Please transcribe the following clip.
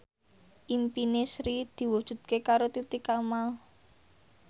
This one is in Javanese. impine Sri diwujudke karo Titi Kamal